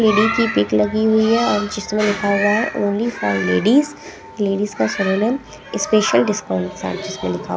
Lady की pic लगी हुई हैं और जिसमें लिखा हुआ हैं ओनली फॉर लेडीज लेडीज का स्पेशल डिस्काउंट साथ ही उसमें लिखा हुआ हैं ।